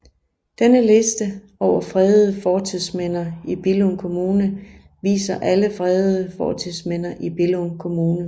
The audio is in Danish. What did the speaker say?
Denne liste over fredede fortidsminder i Billund Kommune viser alle fredede fortidsminder i Billund Kommune